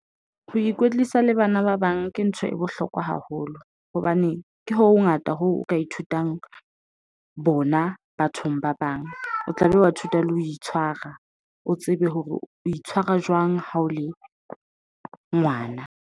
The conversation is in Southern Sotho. Ho ikwetlisa le bana ba bang ke ntho e bohlokwa haholo hobane ke ho ho ngata ho o ka ithutang bona bathong ba bang. O tla be wa ithuta le ho itshwara. O tsebe hore o itshwara jwang ha o le ngwana.